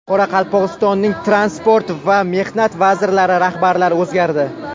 Qoraqalpog‘istonning Transport va Mehnat vazirliklari rahbarlari o‘zgardi.